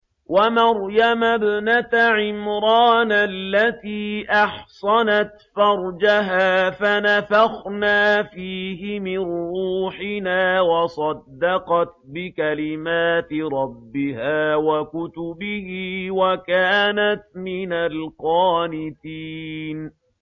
وَمَرْيَمَ ابْنَتَ عِمْرَانَ الَّتِي أَحْصَنَتْ فَرْجَهَا فَنَفَخْنَا فِيهِ مِن رُّوحِنَا وَصَدَّقَتْ بِكَلِمَاتِ رَبِّهَا وَكُتُبِهِ وَكَانَتْ مِنَ الْقَانِتِينَ